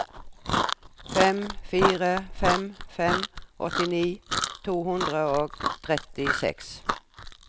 fem fire fem fem åttini to hundre og trettiseks